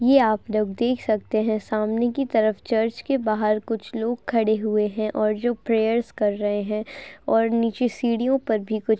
ये आप लोग देख सकते हैं सामने की तरफ चर्च के बाहर कुछ लोग खड़े हुए हैं और जो प्रेयर्स कर रहे हैं और नीचे सीढ़ियों पर भी कुछ --